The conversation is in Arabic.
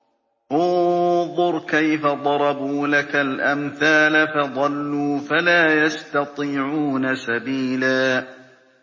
انظُرْ كَيْفَ ضَرَبُوا لَكَ الْأَمْثَالَ فَضَلُّوا فَلَا يَسْتَطِيعُونَ سَبِيلًا